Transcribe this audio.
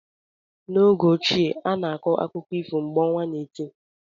N'oge ochie, a na-akọ akụkọ ifo mgbe ọnwa na eti.